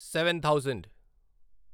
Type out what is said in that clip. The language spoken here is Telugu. seven thousand